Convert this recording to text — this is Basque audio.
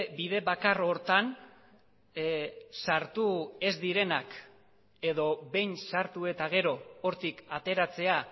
bide bakar horretan sartu ez direnak edo behin sartu eta gero hortik ateratzea